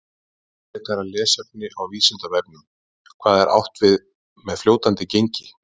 Frekara lesefni á Vísindavefnum: Hvað er átt við með fljótandi gengi?